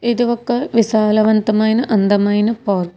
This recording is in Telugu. ఇది ఒక్క విశాలవంతమైన అందమైన పార్క్ .